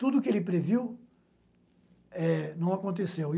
Tudo o que ele previu eh, não aconteceu.